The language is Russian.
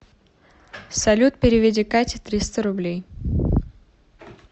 салют переведи кате триста рублей